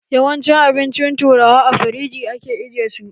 Yawancin abincin turawa, a firiji ake ajiye su.